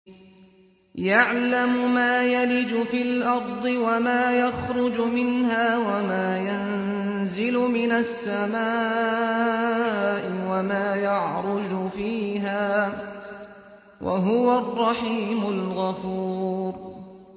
يَعْلَمُ مَا يَلِجُ فِي الْأَرْضِ وَمَا يَخْرُجُ مِنْهَا وَمَا يَنزِلُ مِنَ السَّمَاءِ وَمَا يَعْرُجُ فِيهَا ۚ وَهُوَ الرَّحِيمُ الْغَفُورُ